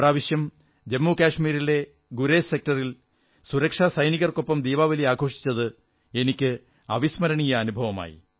ഇപ്രാവശ്യം ജമ്മുകശ്മീരിലെ ഗുരേസ് സെക്ടറിൽ സുരക്ഷാസൈനികർക്കൊപ്പം ദീപാവലി ആഘോഷിച്ചത് എനിക്ക് അവിസ്മരണീയ അനുഭവമായി